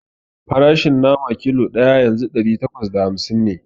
Farashin nama kilo ɗaya yanzu ɗari takwas da hamsin ne